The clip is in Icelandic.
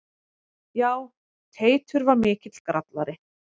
Já, Teitur var mikill grallari.